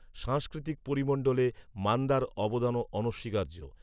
সাংস্কৃতিক পরিমন্ডলে মান্দার অবদানও অনস্বীকার্য